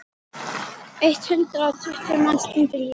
Eitt hundrað og tuttugu manns týndu lífi.